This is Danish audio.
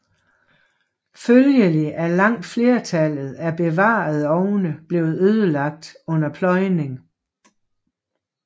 Følgelig er langt flertallet af bevarede ovne blevet ødelagt under pløjning